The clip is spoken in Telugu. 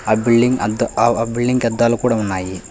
ఆ బిల్డింగ్ అద్ ఆ అవ్ అంతా ఆ బిల్డింగ్ కి అదలు కూడా ఉన్నాయి.